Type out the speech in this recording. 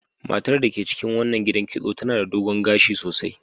Matar da ke cikin wannan gidan kitso tana da dogon gashi sosai.